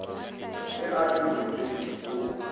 be a le moriting wo